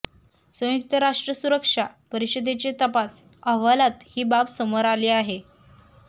संयुक्त राष्ट्र सुरक्षा परिषदेचे तपास अहवालात ही बाब समोर आली आहे